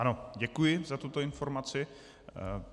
Ano, děkuji za tuto informaci.